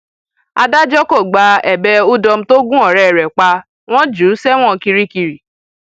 adájọ kò gba ẹbẹ udom tó gun ọrẹ rẹ pa wọn jù ú sẹwọn kirikiri